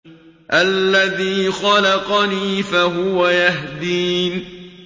الَّذِي خَلَقَنِي فَهُوَ يَهْدِينِ